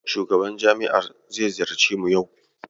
Shugaban jami'a zai ziyarci mu yau